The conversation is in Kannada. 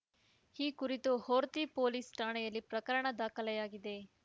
ಈ ಕುರಿತು ಹೊರ್ತಿ ಪೊಲೀಸ್‌ ಠಾಣೆಯಲ್ಲಿ ಪ್ರಕರಣ ದಾಖಲಾಗಿದೆ